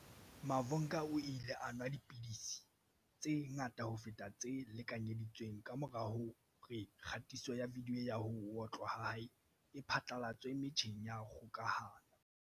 Mavhunga o ile a nwa dipidisi tse ngata ho feta tse lekanyedi tsweng kamora hore kgatiso ya vidiyo ya ho otlwa ha hae e phatlalatswe metjheng ya kgokahano.